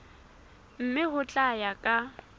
mme ho tla ya ka